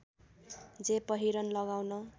जे पहिरन लगाउन